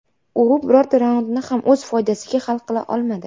U birorta raundni ham o‘z foydasiga hal qila olmadi.